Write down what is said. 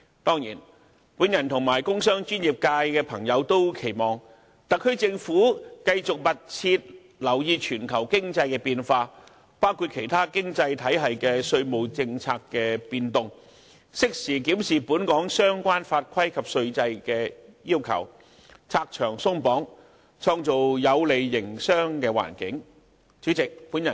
當然，我和工商專業界的朋友也期望特區政府繼續密切留意全球經濟變化，包括其他經濟體系稅務政策的變動，適時檢視本港相關法規及稅制的要求，拆牆鬆綁，創造有利營商的環境。